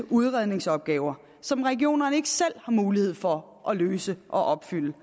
udredningsopgaver som regionerne ikke selv har mulighed for at løse og opfylde